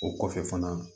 O kɔfɛ fana